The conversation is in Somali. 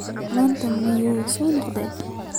Maanta miyuu soo noqday?